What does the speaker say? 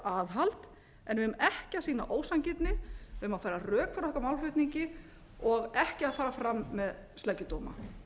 aðhald en við eigum ekki að sýna ósanngirni við eigum að færa rök fyrir okkar málflutningi og ekki að fara fram með sleggjudóma